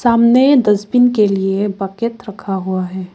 सामने डस्टबिन के लिए बकेट रखा हुआ है।